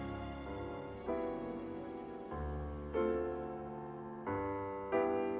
og